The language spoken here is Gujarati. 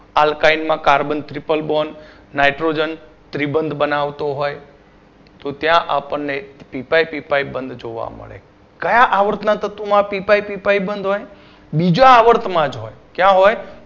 Alkaline માં carbon ત્રિપલ born nitrogen ત્રિબંધ બનાવતો હોય તો ત્યાં આપણને ત્રિ પાઇ પી પાઇ બંધ જોવા મળે કયા આવર્તના તત્વોમાં પી પાઇ પી પાઇ બંધ હોય બીજા આવર્ત માં જ હોય કયા હોય